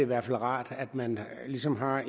være rart at man ligesom har